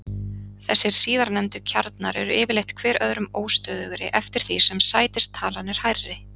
Þessir síðarnefndu kjarnar eru yfirleitt hver öðrum óstöðugri eftir því sem sætistalan er hærri.